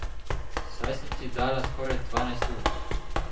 Saj sem ti dala skoraj dvanajst ur!